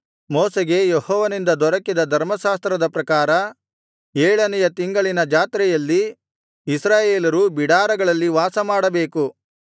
ಮೋಶೆಗೆ ಯೆಹೋವನಿಂದ ದೊರಕಿದ ಧರ್ಮಶಾಸ್ತ್ರದ ಪ್ರಕಾರ ಏಳನೆಯ ತಿಂಗಳಿನ ಜಾತ್ರೆಯಲ್ಲಿ ಇಸ್ರಾಯೇಲರು ಬಿಡಾರಗಳಲ್ಲಿ ವಾಸಮಾಡಬೇಕು